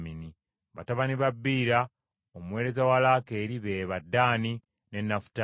Batabani ba Biira, omuweereza wa Laakeeri be ba: Ddaani ne Nafutaali.